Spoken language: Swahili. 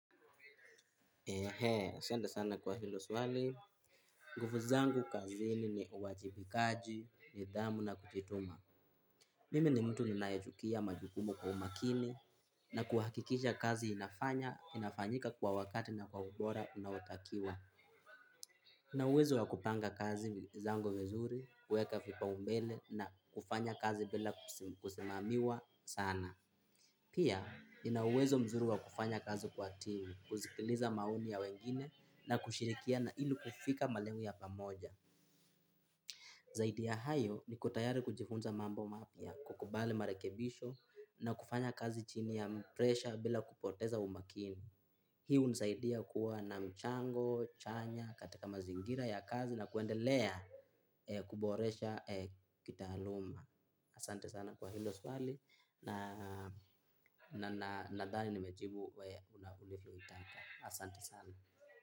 Ehe, asante sana kwa hilo swali. Nguvu zangu kazi ni uwajibikaji, nidhamu na kujituma. Mimi ni mtu ninayechukua majukumu kwa umakini na kuhakikisha kazi inafanya, inafanyika kwa wakati na kwa ubora unaotakiwa. Ninauwezo wa kupanga kazi zangu vizuri, kuweka vipaumbele na kufanya kazi bila kusimamiwa sana. Pia, ina uwezo mzuri wa kufanya kazi kwa timu, kusikiliza maoni ya wengine na kushirikiana ili kufika malengo ya pamoja. Zaidi ya hayo niko tayari kujifunza mambo mapya, kukubali marekebisho na kufanya kazi chini ya presha bila kupoteza umakini. Hii hunisaidia kuwa na mchango, chanya, katika mazingira ya kazi na kuendelea kuboresha kitaaluma. Asante sana kwa hilo swali na nadhani nimejibu venye unalivyotaka asante sana.